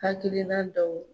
Hakilina dɔw